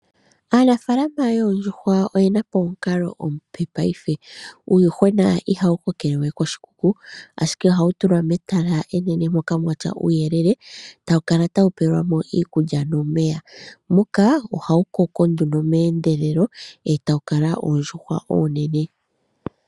Aanafaalama yoondjuhwa oyena po omukalo omupe paife, uuyuhwena ihawu kokele we koshikuku ashike ihawu tulwa metala enene moka mwatya uuyelele. Tawu kala tawu pewelwa mo iikulya nomeya. Muka ohawu koko nduno meendelelo e tawu kala oondjuhwa oonene.